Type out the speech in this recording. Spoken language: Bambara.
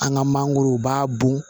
An ka mangorow b'a bɔn